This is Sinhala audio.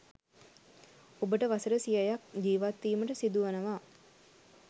ඔබට වසර සියයක් ජීවත්වීමට සිදුවනවා